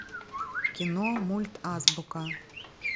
кино мульт азбука